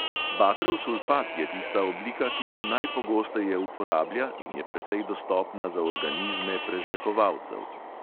Bakrov sulfat je tista oblika, ki se najpogosteje uporablja in je precej dostopna za organizme prežvekovalcev.